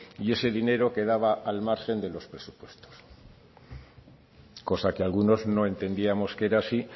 y ese dinero quedaba al margen de los presupuestos cosa que algunos no entendíamos que era así